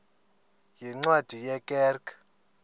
yeencwadi ye kerk